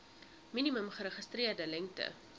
minimum geregistreerde lengte